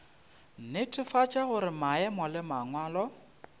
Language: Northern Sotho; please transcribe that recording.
netefatša gore maemo le mangwalo